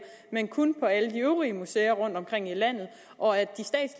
men kun på alle de øvrige museer rundtomkring i landet og at